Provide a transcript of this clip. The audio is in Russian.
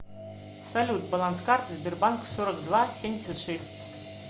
салют баланс карты сбербанк сорок два семьдесят шесть